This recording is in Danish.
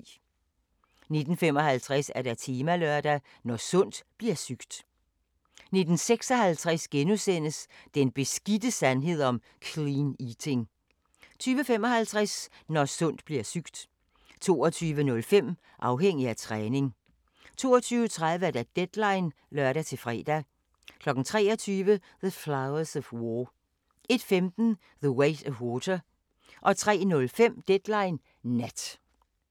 19:55: Temalørdag: Når sundt bliver sygt 19:56: Den beskidte sandhed om "clean eating" 20:55: Når sundt bliver sygt 22:05: Afhængig af træning 22:30: Deadline (lør-fre) 23:00: The Flowers of War 01:15: The Weight of Water 03:05: Deadline Nat